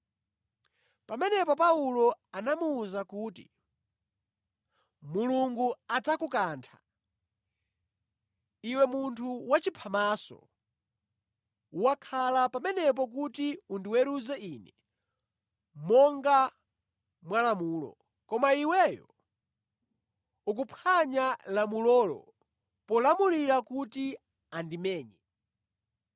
Pamenepo Paulo anamuwuza kuti, “Mulungu adzakukantha, iwe munthu wachiphamaso! Wakhala pamenepo kuti undiweruze ine monga mwalamulo, koma iweyo ukuphwanya lamulolo polamulira kuti andimenye!”